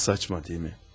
Nə mənasız, elə deyilmi?